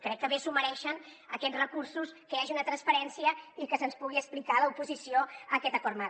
crec que bé es mereixen aquests re cursos que hi hagi una transparència i que se’ns pugui explicar a l’oposició aquest acord marc